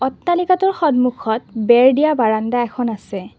অট্টালিকাটোৰ সম্মুখত বেৰা দিয়া বাৰান্দা এখন আছে।